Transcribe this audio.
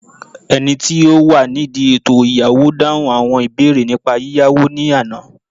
oni ti o wa nidi eto iyawo dahun awọn ibeere nipa yiyawo ni Ana